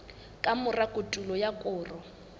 ka mora kotulo ya koro